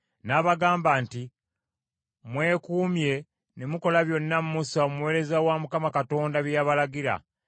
n’abagamba nti, “Mwekuumye ne mukola byonna Musa omuweereza wa Mukama Katonda bye yabalagira.